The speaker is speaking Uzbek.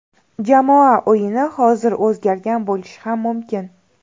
Jamoa o‘yini hozir o‘zgargan bo‘lishi ham mumkin.